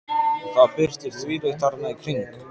Og það birtir þvílíkt þarna í kring.